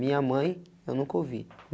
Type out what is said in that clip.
Minha mãe, eu nunca ouvi.